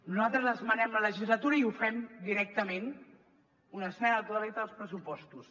nosaltres esmenem la legislatura i ho fem directament una esmena a la totalitat als pressupostos